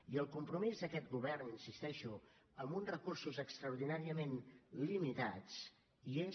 i el compromís d’aquest govern hi insisteixo amb uns recursos extraordinàriament limitats hi és